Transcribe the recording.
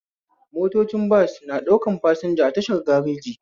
Mtotoci bas na ɗaukan fasinja a tashar gareji